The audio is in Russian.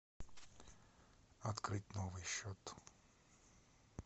открыть новый счет